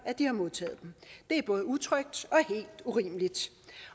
de har modtaget dem det er både utrygt